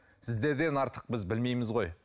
сіздерден артық біз білмейміз ғой